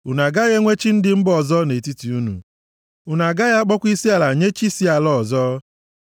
Unu agaghị enwe chi ndị mba ọzọ nʼetiti unu; unu agaghị akpọkwa isiala nye chi si ala ọzọ.